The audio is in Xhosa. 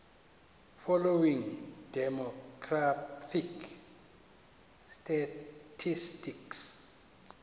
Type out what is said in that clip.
following demographic statistics